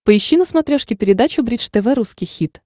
поищи на смотрешке передачу бридж тв русский хит